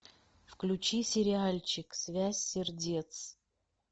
включи сериальчик связь сердец